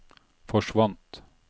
forsvant